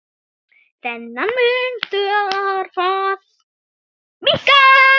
Þennan mun þarf að minnka.